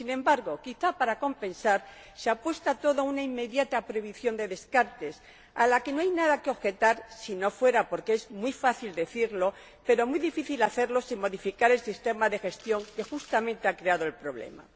Y, sin embargo, quizá para compensar, se apuesta todo a una inmediata prohibición de los descartes, a la que no hay nada que objetar si no fuera porque es muy fácil decirlo, pero muy difícil hacerlo, sin modificar el sistema de gestión que, justamente, ha creado el problema.